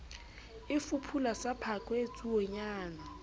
e fuphula sa phakwe tsuonyana